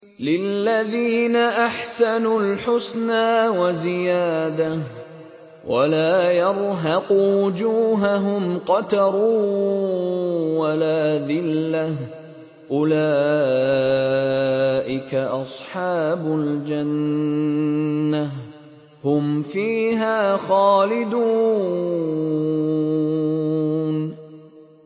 ۞ لِّلَّذِينَ أَحْسَنُوا الْحُسْنَىٰ وَزِيَادَةٌ ۖ وَلَا يَرْهَقُ وُجُوهَهُمْ قَتَرٌ وَلَا ذِلَّةٌ ۚ أُولَٰئِكَ أَصْحَابُ الْجَنَّةِ ۖ هُمْ فِيهَا خَالِدُونَ